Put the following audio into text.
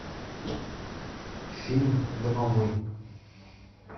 фильм домовой